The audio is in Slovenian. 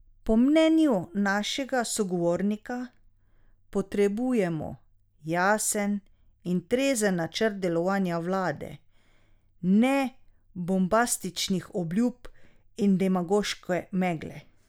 Po mnenju našega sogovornika potrebujemo jasen in trezen načrt delovanja vlade, ne bombastičnih obljub in demagoške megle.